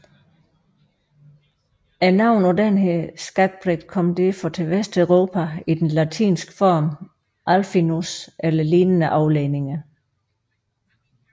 Navnet på denne skakbrik kom derfor til Vesteuropa i den latinske form alfinus eller lignende afledninger